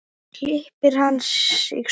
Klippir hann sig svona.